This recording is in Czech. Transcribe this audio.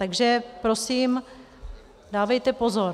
Takže prosím dávejte pozor.